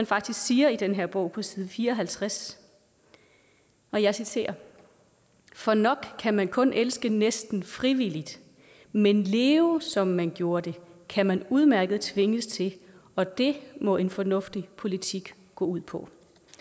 faktisk siger i den her bog på side fire og halvtreds og jeg citerer for nok kan man kun elske næsten frivilligt men leve som man gjorde det kan man udmærket tvinges til og det må en fornuftig politik gå ud på